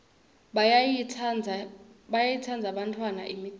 bayayitsandza bantfwana imicimbi